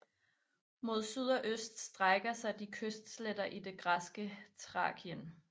Mod syd og øst strækker de sig til kystsletterne i det græske Thrakien